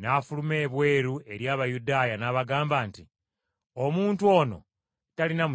n’afuluma ebweru eri Abayudaaya n’abagamba nti, “Omuntu ono talina musango.